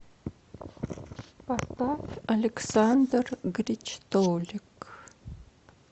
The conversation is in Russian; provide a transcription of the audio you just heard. поставь александр гричтолик